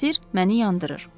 Olan sirr məni yandırır.